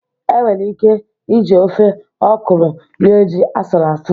E nwere ike ị ji ofe ọkụrụ rie ji asụrụ asụ